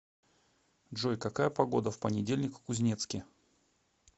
джой какая погода в понедельник в кузнецке